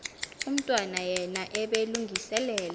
umntwana yena ebelungiselela